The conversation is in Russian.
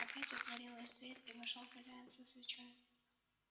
опять отворилась дверь и вошёл хозяин со свечой